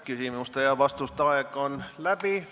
Küsimuste ja vastuste aeg on läbi.